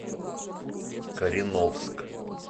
кореновск